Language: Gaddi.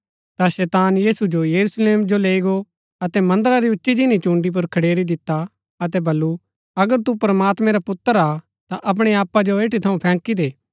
ता शैतान यीशु जो यरूशलेम जो लैई गो अतै मन्दरा री उच्ची जिनी चून्डी पुर खडेरी दिता अतै बल्लू अगर तू प्रमात्मैं रा पुत्र हा ता अपणै आपा जो एठी थऊँ फैंकी दे